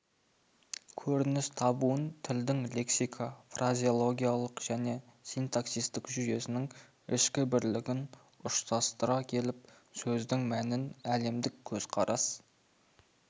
көрініс табуын тілдің лексика-фразеологиялық және синтаксистік жүйесінің ішкі бірлігін ұштастыра келіп сөздің мәнін әлемдік көзқарас